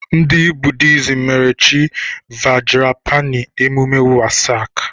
Ndị Buddhism mere Chi Vajrapāṇi emume Wesak.